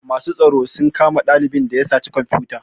Masu tsaro sun kama ɗalibin da ya saci komfuta